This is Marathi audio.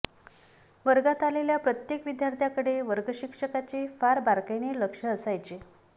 वर्गात आलेल्या प्रत्येक विद्याथ्र्याकडे वर्गशिक्षकाचे फार बारकाईने लक्ष असायचे